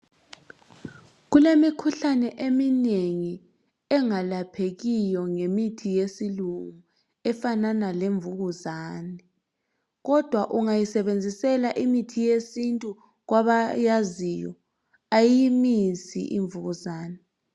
Kulemikhuhlane eminengi engalaphekiyo ngemithi yesilungu efanana lemvukuzane kodwa ungayisebenzisela imithi yesintu kwabayaziyo ayiyimisi imvukuzane.